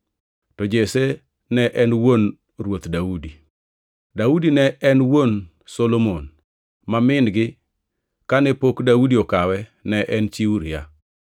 to Jesse ne en wuon Ruoth Daudi. Daudi ne en wuon Solomon, ma min-gi, kane pok Daudi okawe, ne en chi Uria,